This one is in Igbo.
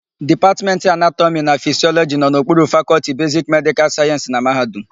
Dipatmentị Anatọmị na Fisịọlọjị nọ n'okpuru Fakọlti Besiki Medịkal Sayensị na mahadum.